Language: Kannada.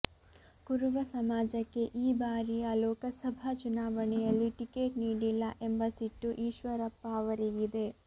ಕುರುಬ ಸಮಾಜಕ್ಕೆ ಈ ಬಾರಿಯ ಲೋಕಸಭಾ ಚುನಾವಣೆಯಲ್ಲಿ ಟಿಕೆಟ್ ನೀಡಿಲ್ಲ ಎಂಬ ಸಿಟ್ಟೂ ಈಶ್ವರಪ್ಪ ಅವರಿಗಿದೆ